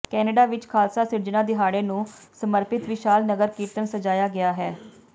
Canada ਵਿੱਚ ਖਾਲਸਾ ਸਿਰਜਨਾ ਦਿਹਾੜੇ ਨੂੰ ਸਮਰਪਿਤ ਵਿਸ਼ਾਲ ਨਗਰ ਕੀਰਤਨ ਸਜ਼ਾਇਆ ਗਿਆ